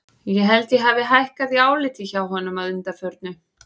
Ég held að ég hafi hækkað í áliti hjá honum að undanförnu.